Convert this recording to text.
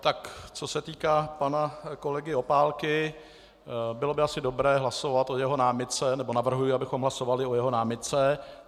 Tak co se týká pana kolegy Opálky, bylo by asi dobré hlasovat o jeho námitce - nebo navrhuji, abychom hlasovali o jeho námitce.